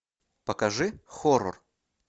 покажи хоррор